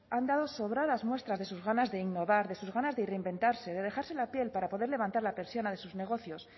han dado sobradas muestras de sus ganas de innovar de sus ganas de reinventarse de dejarse la piel para poder levantar la persiana de sus negocios